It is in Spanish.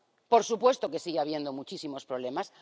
¡Por supuesto que sigue habiendo muchísimos problemas!